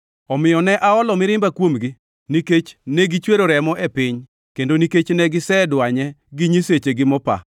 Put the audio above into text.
Omiyo ne aolo mirimba kuomgi nikech ne gisechwero remo e piny, kendo nikech ne gisedwanye gi nyisechegi mopa.